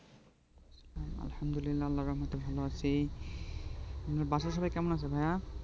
আলহামদুলিল্লাহ আল্লাহর রহমতে ভালো আছি বাসার সবাই কেমন আছে ভাইয়া